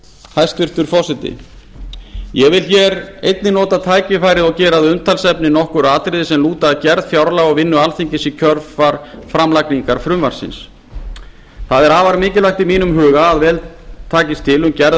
hæstvirtur forseti ég vil hér einnig nota tækifærið og gera að umtalsefni nokkur atriði sem lúta að gerð fjárlaga og vinnu alþingis í kjölfar framlagningar frumvarpsins það er afar mikilvægt í mínum huga að vel takist til um gerð